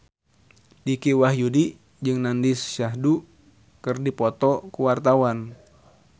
Dicky Wahyudi jeung Nandish Sandhu keur dipoto ku wartawan